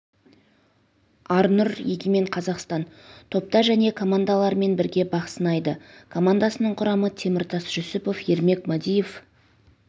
арнұр егемен қазақстан топта және командаларымен бірге бақ сынайды командасының құрамы теміртас жүсіпов ермек мадиев